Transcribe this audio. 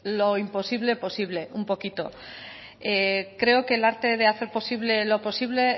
lo imposible posible un poquito creo que el arte de hacer posible lo posible